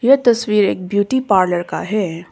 ये तस्वीर एक ब्यूटी पार्लर का है।